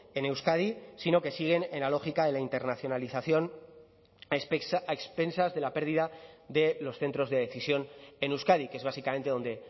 en euskadi sino que siguen en la lógica de la internacionalización a expensas de la pérdida de los centros de decisión en euskadi que es básicamente donde